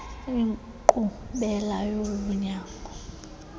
inkqubela yolu nyango